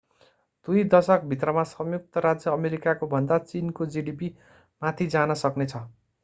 दुई दशक भित्रमा संयुक्त राज्य अमेरिकाको भन्दा चीनको जीडीपी माथि जान सक्ने छ